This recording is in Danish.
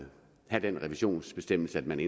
have den revisionsbestemmelse at man